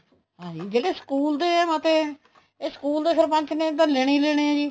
ਹਾਂਜੀ ਜਿਹੜੇ school ਦੇ ਮਤੇ ਹੈ ਇਹ school ਦੇ ਸਰਪੰਚ ਨੇ ਤਾਂ ਲੈਣੇ ਹੀ ਲੈਣੇ ਹੈ ਜੀ